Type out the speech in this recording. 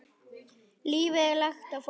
Lífið er langt og flókið.